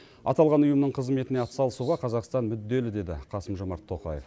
аталған ұйымның қызметіне атсалысуға қазақстан мүдделі деді қасым жомарт тоқаев